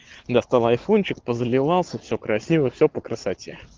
достал айфончик позаливался все красиво все по красоте